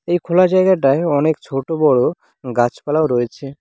এই খোলা জায়গাটায় অনেক ছোট বড়ো গাছপালা রয়েছে।